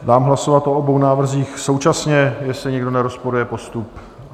Dám hlasovat o obou návrzích současně, jestli nikdo nerozporuje postup.